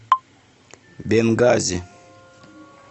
бенгази